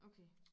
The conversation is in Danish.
Okay